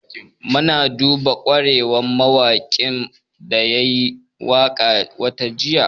Mun yaba ƙwarewar mawaƙin da ya yi waƙa watan jiya